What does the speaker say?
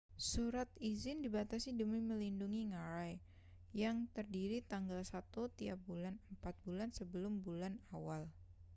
surat izin dibatasi demi melindungi ngarai yang tersedia tanggal satu tiap bulan empat bulan sebelum bulan awal